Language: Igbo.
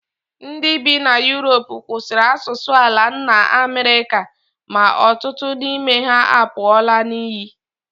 Ndị bi na Europe kwụsịrị asụsụ ala nna Amerịka, ma ọtụtụ n'ime ha apụọla n'iyi